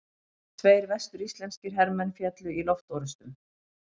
Tveir vestur-íslenskir hermenn féllu í loftorrustum.